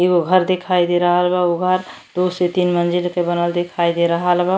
एगो घर दिखाई दे रहल बा। उ घर दो से तीन मंजिल के बनल दिखाई दे रहल बा।